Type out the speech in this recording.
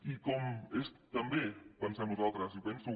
i com també pensem nosaltres i penso